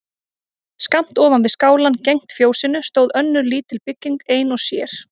Skammt ofan við skálann gegnt fjósinu stóð önnur lítil bygging ein og sér.